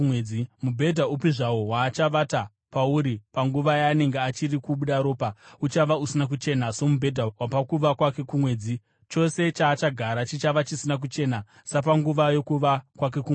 Mubhedha upi zvawo waachavata pauri panguva yaanenge achiri kubuda ropa, uchava usina kuchena somubhedha wapakuva kwake kumwedzi, chose chaachagara chichava chisina kuchena sapanguva yokuva kwake kumwedzi.